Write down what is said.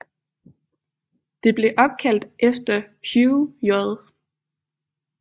Det blev opkaldt efter Hugh J